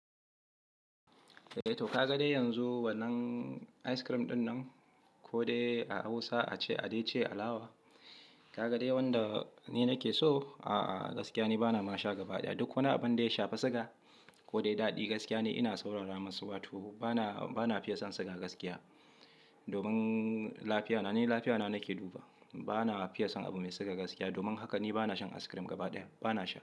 Eh to ka ga dai yanzu wannan ice cream ɗinnan ko dai a Hausa a ce "adece alawa", ka ga dai wanda ni nake so? A'a, gaskiya ni bana ma sha gaba ɗaya. Duk wana abun dai shafi siga ko dai daɗi gaskiya ne ina saurara masu, wato bana, bana fiye son siga gaskiya. Domin lafiyana, ni lafiyana nake duba. Bana fiye son abu mai siga gaskiya. Domin haka ni bana shan ice cream gaba ɗaya. Bana sha.